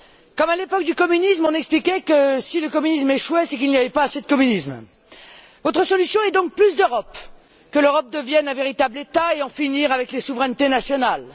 Comme à l'époque du communisme, on expliquait que, si le communisme échouait, c'était qu'il n'y avait pas assez de communisme. Votre solution est donc plus d'Europe, que l'Europe devienne un véritable État et qu'on en finisse avec les souverainetés nationales.